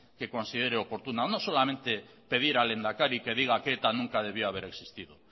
que considere oportuna no solamente pedir al lehendakari que diga que eta nunca debió de haber existido